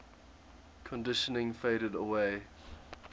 conditioning faded away